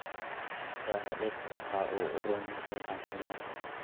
Shaaha dhirtu waxa uu u roon yahay caafimaadka.